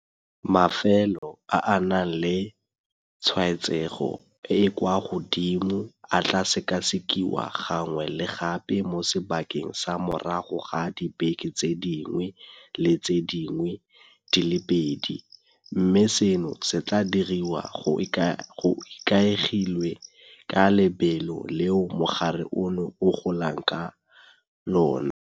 Mafelo a a nang le tshwaetsego e e kwa godimo a tla sekasekiwa gangwe le gape mo sebakeng sa morago ga dibeke tse dingwe le tse dingwe di le pedi, mme seno se tla diriwa go ikaegilwe ka lebelo leo mogare ono o golang ka lona.